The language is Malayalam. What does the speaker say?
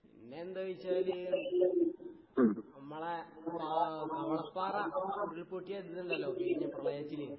പിന്നെന്താവെച്ചാല് ഇമ്മളെ കാ കവളപ്പാറ ഉരുൾപൊട്ടിയ ഇതിണ്ടല്ലോ കഴിഞ്ഞ പ്രളയത്തിന്